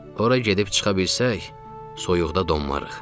Ora gedib çıxa bilsək, soyuqda donmarıq.